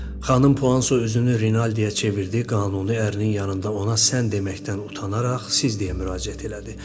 Xanım Puanso özünü Rinaldiyə çevirdi, qanuni ərinin yanında ona sən deməkdən utanaraq siz deyə müraciət elədi.